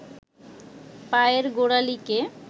পায়ের গোড়ালিকে